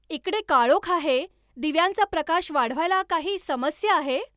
इकडे काळोख आहे दिव्यांचा प्रकाश वाढवायला काही समस्या आहे